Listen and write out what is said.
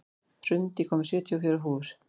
Hrund, ég kom með sjötíu og fjórar húfur!